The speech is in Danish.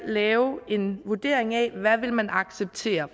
lave en vurdering af hvad vil man acceptere